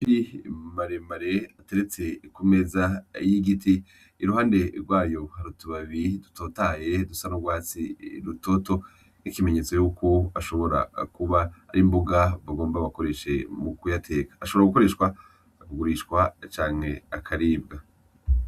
Amafi maremare ateretse ku meza y'igiti, I ruhande rwayo hari utubabi dutotahaye dusa n'urwatsi rutoto nk'ikimenyetso cuko ashobora kuba ari imbuga bagomba bakoresheje mu kuyateka, ashobora gukoreshwa, akugurishwa canke akaribwa.